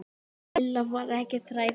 Lilla var ekkert hrædd.